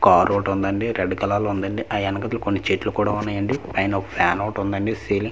car ఒకటి ఉందండి red colour లో ఉందండి ఆ యనకట్ల కొన్ని చెట్లు కూడ ఉన్నాయండి అయిన ఒక ఫ్యాన్ ఒకటి ఉందండి సీలింగ్ పై--